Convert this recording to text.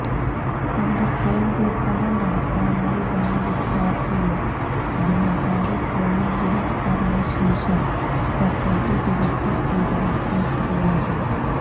തന്റെ ഫോൺ വിൽപന നടത്താനായി വന്ന വിദ്യാർത്ഥിയെ വ്യാപാരി ഫോണിന് വില പറഞ്ഞ ശേഷം പ്രകൃതി വിരുദ്ധ പീഡനം നടത്തുകയായിരുന്നു